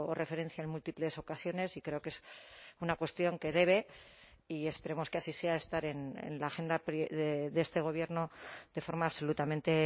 referencia en múltiples ocasiones y creo que es una cuestión que debe y esperemos que así sea estar en la agenda de este gobierno de forma absolutamente